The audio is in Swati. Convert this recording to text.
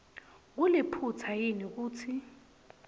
kuliphutsa yini kutsi